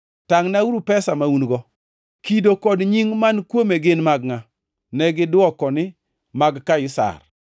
“Tangʼnauru pesa ma un-go. Kido kod nying man kuome gin mag ngʼa?” Negidwoko niya, “Mag Kaisar.”